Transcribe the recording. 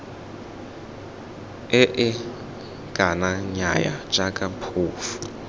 ee kana nnyaya jaaka phofu